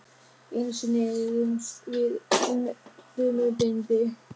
Einu sinni rifumst við um dömubindi.